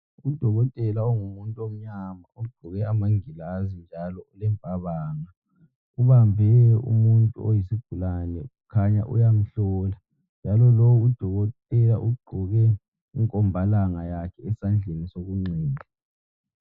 Udokotela ongumuntu omnyama, uqgoke amagilazi njalo ulempabanga ubambe umuntu oyisigulane kukhanya uyamhlola njalo lo udokotela ugqoke ikombalanga yakhe esandleni sokunxele.